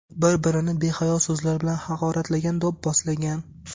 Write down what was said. Bir-birini behayo so‘zlar bilan haqoratlagan, do‘pposlagan.